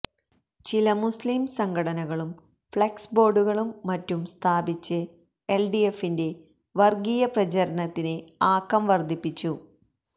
ചില മുസ്ലിം സംഘടനകളും ഫഌക്സ് ബോര്ഡുകളും മറ്റും സ്ഥാപിച്ച് എല്ഡിഎഫിന്റെ വര്ഗീയ പ്രചാരണത്തിന് ആക്കം വര്ദ്ധിപ്പിച്ചു